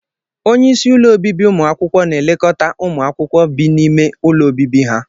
Onye isi ụlọ obibi ụmụ akwụkwọ na-elekọta ụmụ akwụkwọ bi n'ime ụlọ obibi ha